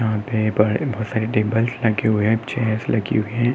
यहाँ पर बहोत सारे चेयर्स लगे हुए हैं।